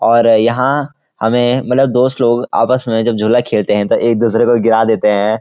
और यहाँ हमें मतलब दोस्त लोग आपस में जब झूला खेलते हैं तो एक दुसरे को गिरा देते हैं|